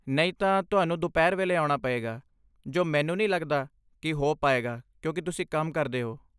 ਨਹੀਂ ਤਾਂ, ਤੁਹਾਨੂੰ ਦੁਪਹਿਰ ਵੇਲੇ ਆਉਣਾ ਪਏਗਾ, ਜੋ ਮੈਨੂੰ ਨਹੀਂ ਲੱਗਦਾ ਕਿ ਹੋ ਪਾਏਗਾ ਕਿਉਂਕਿ ਤੁਸੀਂ ਕੰਮ ਕਰਦੇ ਹੋ।